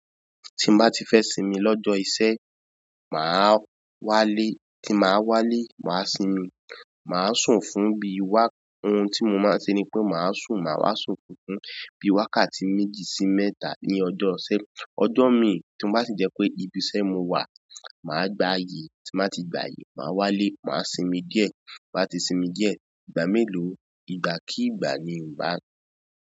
Tí mo bá ti fẹ́ sinmi lọ́jọ́ iṣẹ́, màá wálé, tí màá wálé, màá sinmi, màá sùn fún bí i wa-- ohun tí mo máa ń ṣe ni pé màá sùn, màá wá sùn funfun bí i wákàtí méjì sí mẹ́ta ní ọjọ́ ìṣẹ́. Ọjọ́ mi tí ó bá ti jẹ́ pé ibi iṣẹ́ mo wà, màá gbayì, tí mo bá ti gbayì, màá wálé, màá sinmi díẹ̀, bá ti sinmi díẹ̀, ìgbà mélòó, ìgbà kìígbà ni n bá ń.